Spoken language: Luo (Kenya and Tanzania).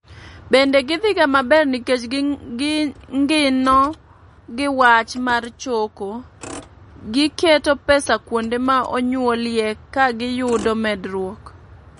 Bende gidhiga maber nikech gingino gi wach mar choko, gi keto pesa kuonde ma onyuolie ka giyudo medruok.